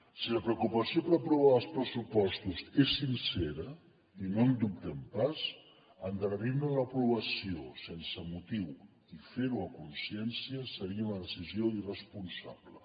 si la preocupació per aprovar els pressupostos és sincera i no en dubtem pas endarrerir ne l’aprovació sense motiu i fer ho a consciència seria una decisió irresponsable